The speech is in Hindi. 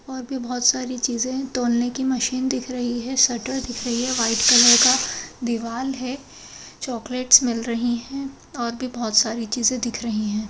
और भी बहुत सारी चीजे हैं। तोलने की मशीन दिख रही है शटर दिख रही है वाइट कलर का दीवाल है। चॉकलेट्स मिल रही हैं और भी बहुत सारी चीजें दिख रही हैं।